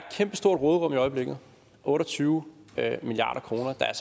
kæmpestort råderum i øjeblikket otte og tyve milliard kroner der er